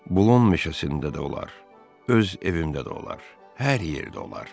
Boulon meşəsində də olar, öz evimdə də olar, hər yerdə olar.